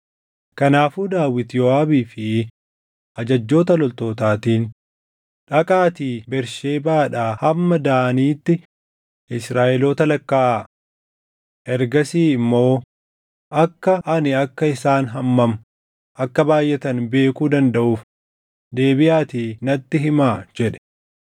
Kanaafuu Daawit Yooʼaabii fi ajajjoota loltootaatiin, “Dhaqaatii Bersheebaadhaa hamma Daaniitti Israaʼeloota lakkaaʼaa. Ergasii immoo akka ani akka isaan hammam akka baayʼatan beekuu dandaʼuuf deebiʼaatii natti himaa” jedhe.